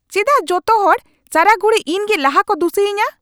ᱪᱮᱫᱟᱜ ᱡᱚᱛᱚ ᱦᱚᱲ ᱥᱟᱨᱟ ᱜᱷᱩᱲᱤ ᱤᱧ ᱜᱮ ᱞᱟᱦᱟ ᱠᱚ ᱫᱩᱥᱤᱭᱤᱧᱟ ?